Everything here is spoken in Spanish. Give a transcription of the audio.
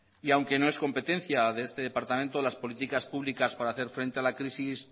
y aunque no es competencia de este departamento las políticas públicas para hacer frente a la crisis